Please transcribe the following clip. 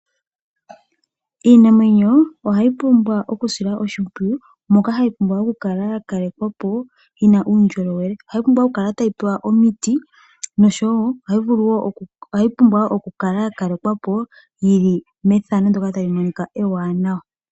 Iinamwenyo ohayi pumbwa okusilwa oshimpwiyu moka hayi pumbwa okukala yakalekwa po yina uundjolowele. Ohayi pumbwa okukala tayi pewa omiti nosho wo ohayi pumbwa wo okukala yakalekwa po yili methano ndoka tali monika ewanawa.